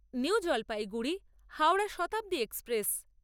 new Jalpaiguri Howrah Shatabdi express